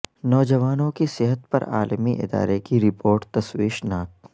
نوجوانوں کی صحت پر عالمی ادارے کی رپورٹ تشویش ناک